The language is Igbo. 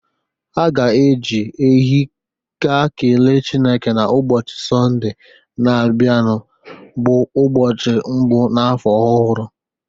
Ha ga-eji ehi ga kele Chineke n'ụbọchị Sọnde na-abịa bụ ụbọchị mbụ n'afọ ọhụrụ.